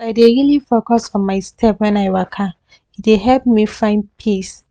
as i dey really focus on my step when i waka e dey help me find peace